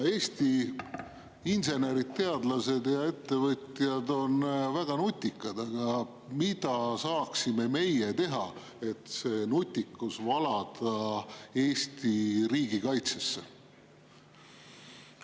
Eesti insenerid, teadlased ja ettevõtjad on väga nutikad, aga mida saaksime meie teha, et see nutikus valada Eesti riigi kaitsesse?